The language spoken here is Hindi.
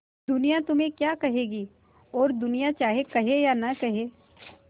दुनिया तुम्हें क्या कहेगी और दुनिया चाहे कहे या न कहे